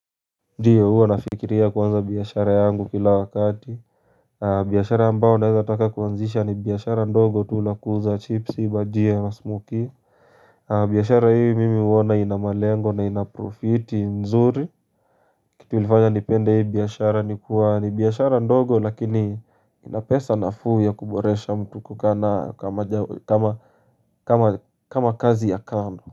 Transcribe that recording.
Ndiyo huo nafikiria kuanza biashara yangu kila wakati biashara ambao naeza taka kuwanzisha ni biashara ndogo tu la kuuza chipsi bhajia na smokey biashara hii mimi uona ina malengo na ina profiti nzuri kitu ulifanya nipende hii biashara ni biashara ndogo lakini inapesa na fuu ya kuboresha mtu kukana kama kazi ya kando.